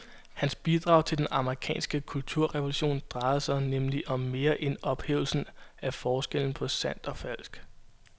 Hans bidrag til den amerikanske kulturrevolution drejede sig nemlig om mere end ophævelsen af forskellen på sandt og falsk.